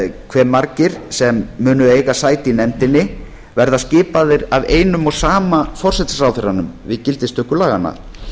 hve margir sem munu eiga sæti í nefndinni verða skipaðir af einum og sama forsætisráðherranum við gildistöku laganna